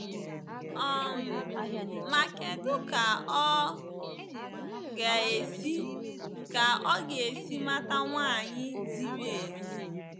um Ma kedụ ka ọ ga-esi ka ọ ga-esi mata nwanyị ziri ezi.